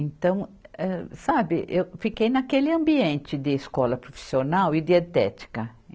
Então, eh sabe, eu fiquei naquele ambiente de escola profissional e dietética.